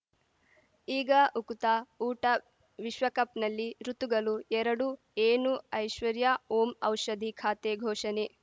ಈಗ ಉಕುತ ಊಟ ವಿಶ್ವಕಪ್‌ನಲ್ಲಿ ಋತುಗಳು ಎರಡು ಏನು ಐಶ್ವರ್ಯಾ ಓಂ ಔಷಧಿ ಖಾತೆ ಘೋಷಣೆ